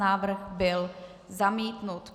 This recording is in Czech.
Návrh byl zamítnut.